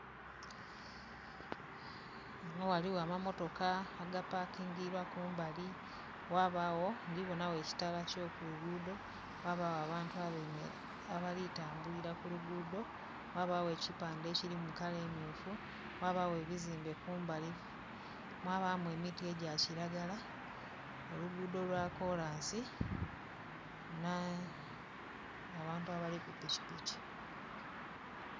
Ghano ghaligho ama motoka aga pakingibwa kumbali ghabagho ndhibonagho ekitala kyo kulugudho, ghabagho abantu abali ku tambulira ku lugudho, ghabagho ekipande ekili mu kala emyufu, ghabagho ebizimbe kumbali, mwabamu emiti egya kilagala, olugudho lwa kolansi ne... abantu abali ku pikipiki.